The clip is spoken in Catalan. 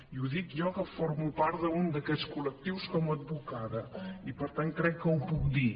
i ho dic jo que formo part d’un d’aquests col·lectius com a advocada i per tant crec que ho puc dir